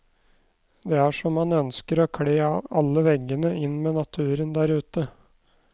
Det er som han ønsker å kle alle veggene inn med naturen der ute.